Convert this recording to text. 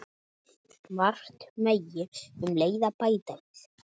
Margt megi um leið bæta.